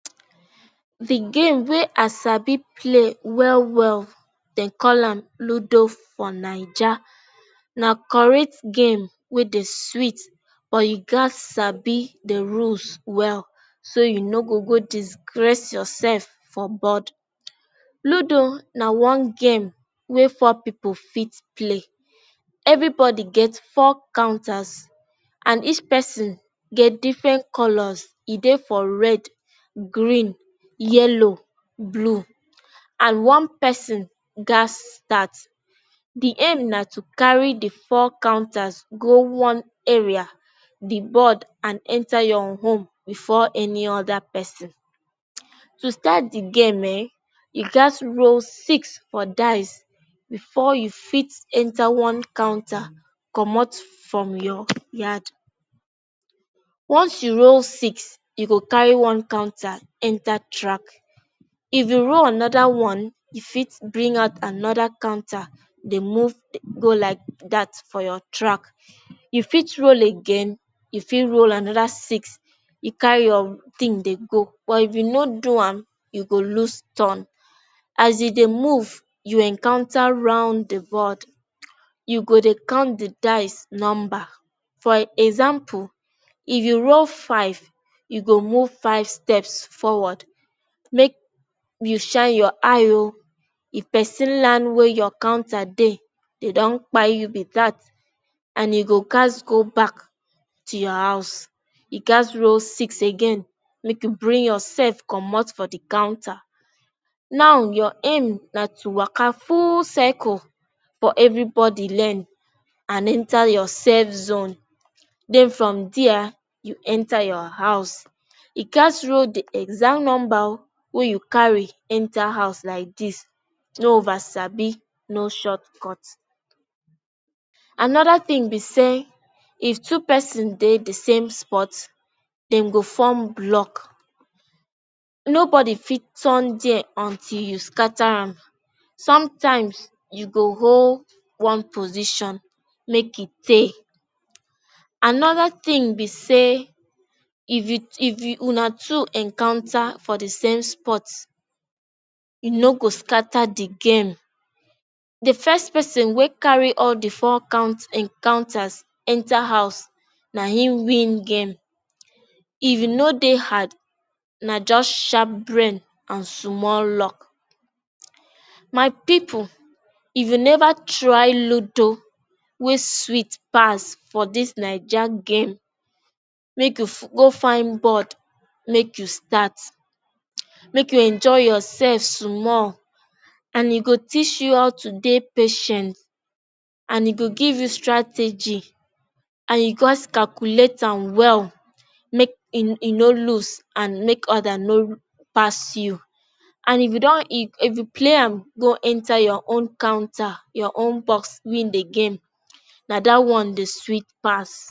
The game wey i Sabi play well well, dem call am Ludo for Naija. Na correct game wey dey sweet, but you gat Sabi de ruules well, so you no go go disgrace yourself for bod. Ludo na one game we four people fit play. Everybody gets four counters and each person get different colors e dey for red, grin, yellow, blue and one person gas start. The aim now to carry the four counters go one area the bod and enter your home before any other person. to start the game[um]you gas to roll six for dice before you fit enter one counter comot from your yard once you roll six you go carry one counter enter track If you roll another one, your fit bring out another counter. Dey move, go like dat for your track. You fit roll again, you fit roll another six, you carry your thin dey go. But if you no do am, you go loose ur ton. As e move, you encounter round the bod you go dey count the dice numbar for example if you roll five you go move five steps forward make you shine your eye oh if person land where your counter day they don kpai you be that and you go gas go back to your house you gas roll six again make you bring yourself come out for the counterNow your aim na to waka full circle for everybody lend and enter your safe zone. Den from there you enter your house. You gats role the exact number wey you carry enter house like this. No ovasabi, no shortcut. Another thing be say, if two person dey the same spot, them go form block. Nobody fit ton there until you scatter them. Sometimes you go hold one position make it take Another thing be say if you una two encounter for the same spot you no go scatter the game The first person wey carry all the four count him counters enter house na him win game If you know they hard na just sharp brain and small luck My people If you never try Ludo, wey sweet pass for this Naija game. Make you go find bod, make you start, make you enjoy yourself small. And it will teach you how to be patient and it e go give you strategy and u gats calculate am well. Make you not lose and make other no pass you. And if you play am, go enter your own canter, your own box, win the game. Na that one dey sweet pass.